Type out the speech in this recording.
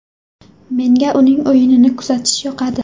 Menga uning o‘yinini kuzatish yoqadi.